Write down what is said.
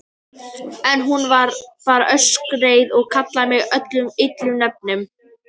En hún. varð bara öskureið og kallaði mig öllum illum nöfnum.